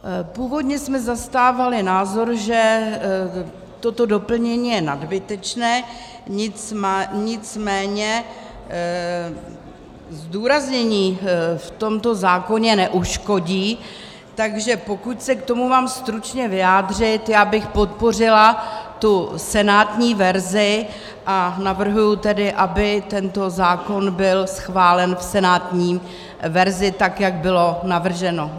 Původně jsme zastávali názor, že toto doplnění je nadbytečné, nicméně zdůraznění v tomto zákoně neuškodí, takže pokud se k tomu mám stručně vyjádřit, já bych podpořila tu senátní verzi, a navrhuji tedy, aby tento zákon byl schválen v senátní verzi, tak jak bylo navrženo.